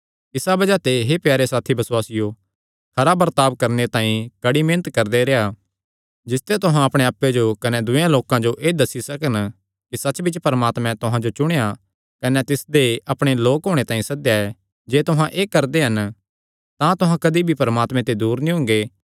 इसा बज़ाह ते हे प्यारे साथी बसुआसियो खरा बर्ताब करणे तांई कड़ी मेहनत करदे रेह्आ जिसते तुहां अपणे आप्पे जो कने दूयेयां लोकां जो एह़ दस्सी सकन कि सच्चबिच्च परमात्मे तुहां जो चुणेया कने तिसदे अपणे लोक होणे तांई सद्देया ऐ जे तुहां एह़ करदे हन तां तुहां कदी भी परमात्मे ते दूर नीं हुंगे